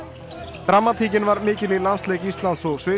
dramatíkin var mikil í landsleik Íslands og Sviss